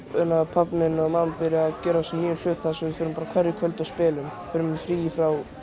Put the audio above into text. pabbi og mamma að gera svona nýja hluti þar sem förum bara á hverju kvöldi og spilum tökum frí frá